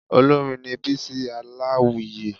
Olórin ni Bísí Aláwìyé